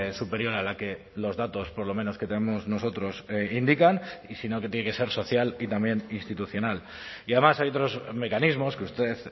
superior a la que los datos por lo menos que tenemos nosotros indican y si no que tiene que ser social y también institucional y además hay otros mecanismos que usted